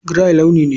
Grey launi ne.